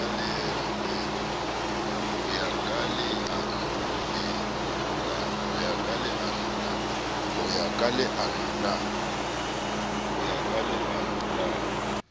ho ya ka leano la